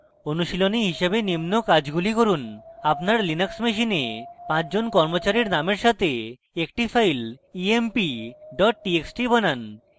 অনুশীলনী হিসাবে নিম্ন কাজগুলি করুন: